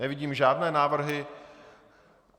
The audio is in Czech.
Nevidím žádné návrhy.